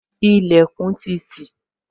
Ilẹkun ti tì